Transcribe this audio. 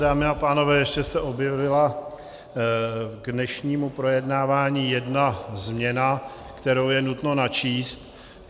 Dámy a pánové, ještě se objevila k dnešnímu projednávání jedna změna, kterou je nutno načíst.